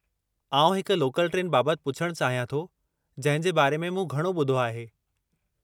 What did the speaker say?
आउं हिकु local train बाबतु पुछणु चाहियां थो जंहिं जे बारे में मूं घणो ॿुधो आहे।